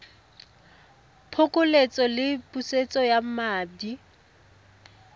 phokoletso le pusetso ya madi